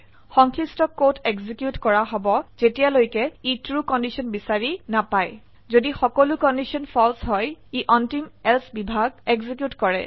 সংশ্লিষ্ট code execute কৰা হব যেতিয়ালৈকে ই ট্ৰু কন্ডিশন বিচাৰি নাপায় যদি সকলো কন্ডিশন ফালছে হয় ই অন্তিম এলছে বিভাগ এক্সিকিউট কৰে